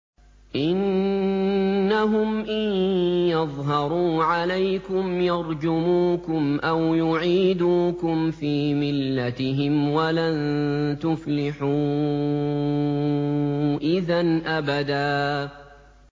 إِنَّهُمْ إِن يَظْهَرُوا عَلَيْكُمْ يَرْجُمُوكُمْ أَوْ يُعِيدُوكُمْ فِي مِلَّتِهِمْ وَلَن تُفْلِحُوا إِذًا أَبَدًا